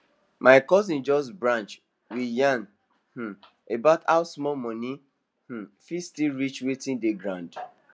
my cousin just branch we yarn um about how small money um fit still reach watin dey ground